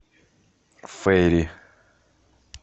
фейри